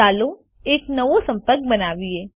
ચાલો એક નવો સંપર્ક બનાવીએ